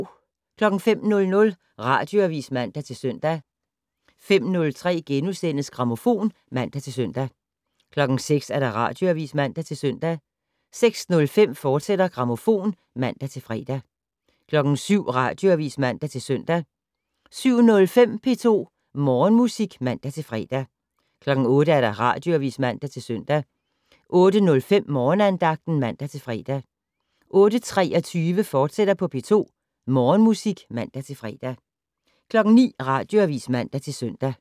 05:00: Radioavis (man-søn) 05:03: Grammofon *(man-søn) 06:00: Radioavis (man-søn) 06:05: Grammofon, fortsat (man-fre) 07:00: Radioavis (man-søn) 07:05: P2 Morgenmusik (man-fre) 08:00: Radioavis (man-søn) 08:05: Morgenandagten (man-fre) 08:23: P2 Morgenmusik, fortsat (man-fre) 09:00: Radioavis (man-søn)